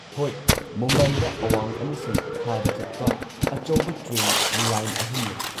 ꯍꯣꯏ, ꯃꯨꯝꯕꯥꯏꯗ ꯑꯋꯥꯡ ꯑꯃꯁꯨꯡ ꯈꯥꯗ ꯆꯠꯄ ꯑꯆꯧꯕ ꯇ꯭ꯔꯦꯟ ꯂꯥꯏꯟ ꯑꯍꯨꯝ ꯂꯩ꯫